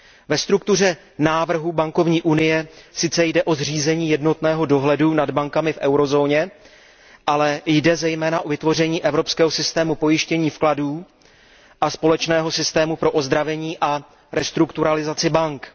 Ve struktuře návrhu bankovní unie sice jde o zřízení jednotného dohledu nad bankami v eurozóně, ale jde zejména o vytvoření Evropského systému pojištění vkladů a společného systému pro ozdravení a restrukturalizaci bank.